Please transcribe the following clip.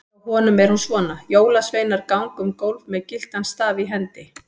Hjá honum er hún svona: Jólasveinar ganga um gólf með gyltan staf í hendi.